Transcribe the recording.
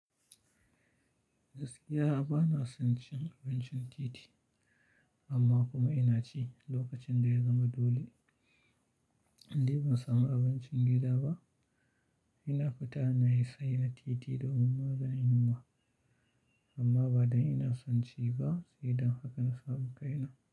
Gaskiya ba na son cin abincin titi, amma kuma ina ci. Lokacin da ya zama dole, indai ban samu abincin gida ba, ina fita na sayi na titi domin maganin yunwa. Amma ba don ina son ci ba, sai dan haka na samu kai na.